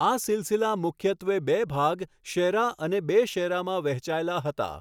આ સિલાસિલા મુખ્યત્વે બે ભાગ, શેરા અને બે શેરામાં વહેંચાયેલા હતા.